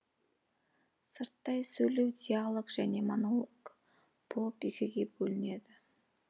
сырттай сөйлеу диалог және монолог болып екіге бөлінеді